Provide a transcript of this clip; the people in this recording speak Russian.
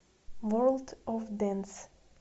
ворлд оф дэнс